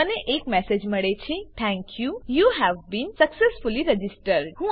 મને એક મેસેજ મળે છે thank you you have been successfully registered